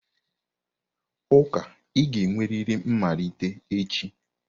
Ụka ị ga-enwerịrị mmalite echi!